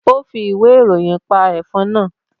Ó fi ìwé ìròyìn pa ẹ̀fọn náà